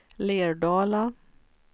Lerdala